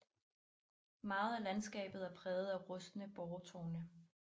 Meget af landskabet er præget af rustne boretårne